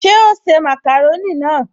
Ṣe o se màkàrónì náà?